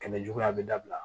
Kɛmɛ juguya bɛ dabila